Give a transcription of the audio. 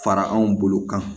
Fara anw bolo kan